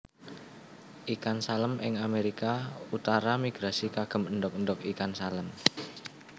Ikan Salem ing Amerika utara migrasi kagem endog endog ikan salem